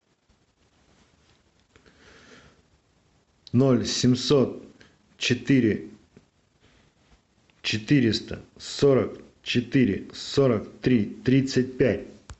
ноль семьсот четыре четыреста сорок четыре сорок три тридцать пять